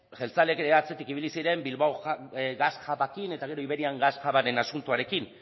jeltzaleak ere atzetik ibili ziren bilbao gas hubarekin eta gero iberian gas hubaren asuntoarekin